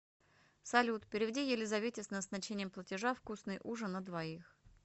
салют переведи елизавете с назначением платежа вкусный ужин на двоих